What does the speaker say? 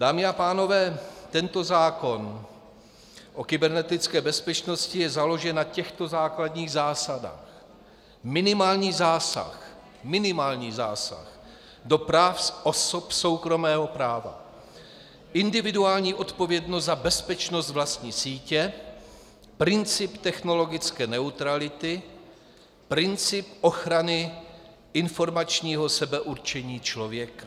Dámy a pánové, tento zákon o kybernetické bezpečnosti je založen na těchto základních zásadách: minimální zásah, minimální zásah do práv osob soukromého práva, individuální odpovědnost za bezpečnost vlastní sítě, princip technologické neutrality, princip ochrany informačního sebeurčení člověka.